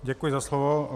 Děkuji za slovo.